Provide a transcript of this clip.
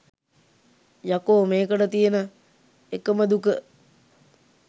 යකෝ මේකට තියෙන එකම දුක